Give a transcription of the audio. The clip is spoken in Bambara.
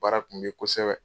Baara kun bɛ ye kosɛbɛ.